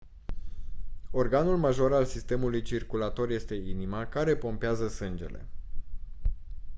organul major al sistemului circulator este inima care pompează sângele